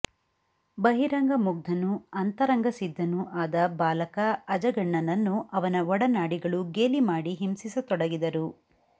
ಬಹಿರಂಗ ಮುಗ್ಧನೂ ಅಂತರಂಗಸಿದ್ದನೂ ಆದ ಬಾಲಕ ಅಜಗಣ್ಣನನ್ನು ಅವನ ಒಡನಾಡಿಗಳು ಗೇಲಿಮಾಡಿ ಹಿಂಸಿಸತೊಡಗಿದರು